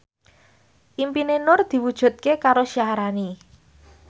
impine Nur diwujudke karo Syaharani